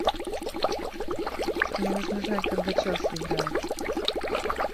мне нужно знать когда челси играет